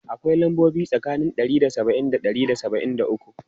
Akwai lambobi biyu tsakanin ɗari da saba'in da ɗari da saba'in da uku.